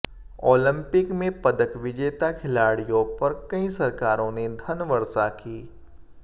Olympic में पदक विजेता खिलाड़ियों पर कई सरकारों ने धन वर्षा की